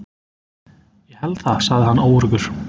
Ég held það sagði hann óöruggur.